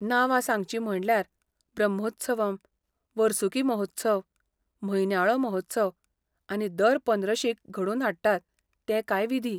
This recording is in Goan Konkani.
नांवां सांगचीं म्हणल्यार, ब्रह्मोत्सवम्, वर्सुकी महोत्सव, म्हयन्याळो महोत्सव आनी दर पंद्रशीक घडोवन हाडटात ते कांय विधी.